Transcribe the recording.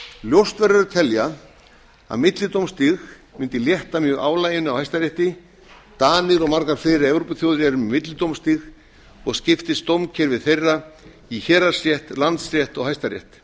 ljóst verður að telja að millidómstig mundi létta mjög álaginu af hæstarétti danir og margar fleiri evrópuþjóðir eru með millidómstig og skiptist dómskerfi þeirra í héraðsrétt landsrétt og hæstarétt